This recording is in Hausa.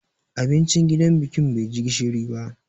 Abincin gidan bikin bai ji gishiri ba.